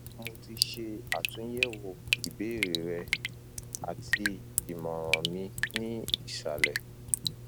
mo ti ṣe atunyẹwo ibeere rẹ ati imọran mi ni isalẹ